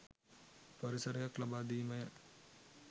පරිසරයක් ලබාදීමය.